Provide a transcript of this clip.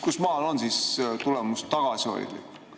Kust maalt on tulemus tagasihoidlik?